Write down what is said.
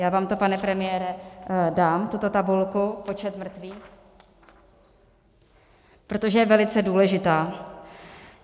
Já vám to, pane premiére, dám, tuto tabulku, počet mrtvých, protože je velice důležitá.